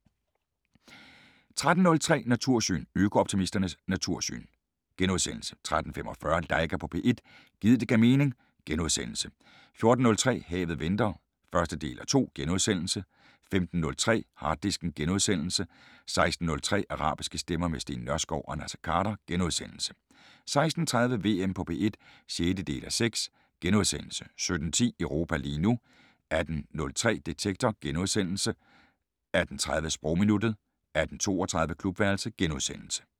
13:03: Natursyn: Øko-optimistens natursyn * 13:45: Laika på P1 - gid det gav mening * 14:03: Havet venter (1:2)* 15:03: Harddisken * 16:03: Arabiske stemmer - med Steen Nørskov og Naser Khader * 16:30: VM på P1 (6:6)* 17:10: Europa lige nu 18:03: Detektor * 18:30: Sprogminuttet 18:32: Klubværelset *